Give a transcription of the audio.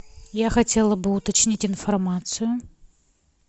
я хотела бы уточнить информацию